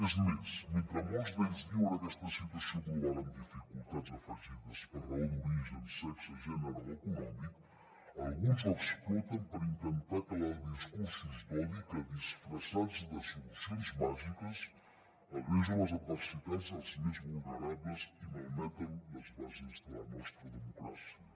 és més mentre molts d’ells viuen aquesta situació global amb dificultats afegides per raó d’origen sexe gènere o econòmic alguns ho exploten per intentar calar discursos d’odi que disfressats de solucions màgiques agreugen les adversitats dels més vulnerables i malmeten les bases de la nostra democràcia